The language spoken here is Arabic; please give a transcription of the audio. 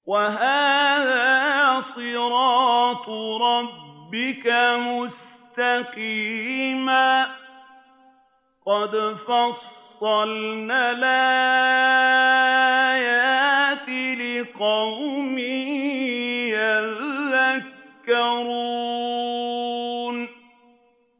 وَهَٰذَا صِرَاطُ رَبِّكَ مُسْتَقِيمًا ۗ قَدْ فَصَّلْنَا الْآيَاتِ لِقَوْمٍ يَذَّكَّرُونَ